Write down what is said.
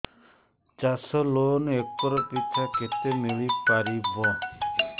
ଚାଷ loan acre ପିଛା କେତେ ମିଳି ପାରିବ